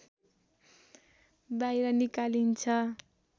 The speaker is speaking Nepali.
बाहिर निकालिन्छ